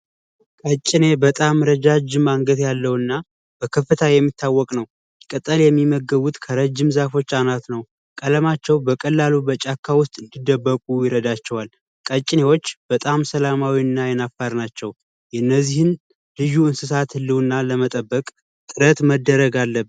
ቀጨኔ በጣም ረዣዥም አንገት ያለው እና በከፍታ የሚታወቅ ነው። ቅጠል የሚመገቡት ከረዥም ዛፎች አናት ነው። ቀለማቸው በቀላሉ በጫካ ውስጥ እንዲደበቁ ይረዳቸዋል። ቀጭኔዎች በጣም ሰላማዊ እና አይናፋር ናቸው። የነዚህን ልዩ እንስሳት ህልውና ለመጠበቅ ጥረት መደረግ አለበት።